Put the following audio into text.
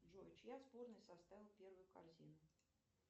джой чья сборная составила первую корзину